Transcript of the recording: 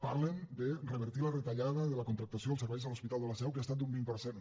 parlen de revertir la retallada de la contractació als serveis de l’hospital de la seu que ha estat d’un vint per cent